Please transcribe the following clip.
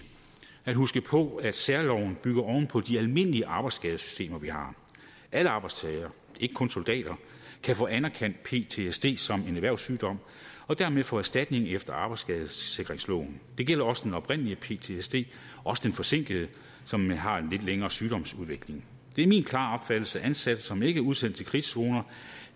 at huske på at særloven bygger oven på de almindelige arbejdsskadesystemer vi har alle arbejdstagere ikke kun soldater kan få anerkendt ptsd som en erhvervssygdom og dermed få erstatning efter arbejdsskadesikringsloven det gælder også den oprindelige ptsd også den forsinkede som har en lidt længere sygdomsudvikling det er min klare opfattelse at ansatte som ikke er udsendt til krigszoner